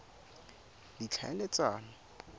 ditlhaeletsano